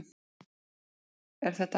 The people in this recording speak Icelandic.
Er þetta hægt?